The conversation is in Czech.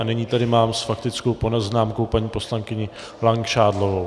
A nyní tady mám s faktickou poznámkou paní poslankyni Langšádlovou.